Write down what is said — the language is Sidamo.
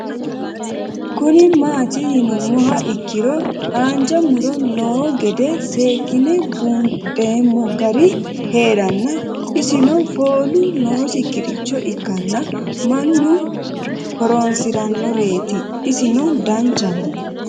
Kuni mati yinumoha ikiro hanja muro noo gede sekine bundhemo gari heerano isino foolu nosiricho ikana manniu horonsiranoreti isino danchaho